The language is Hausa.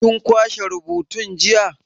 Kin kwashe rubutun jiya?